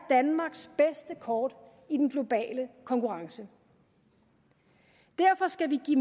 danmarks bedste kort i den globale konkurrence derfor skal vi give